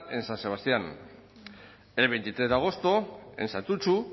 en san sebastián el veintitrés de agosto en santutxu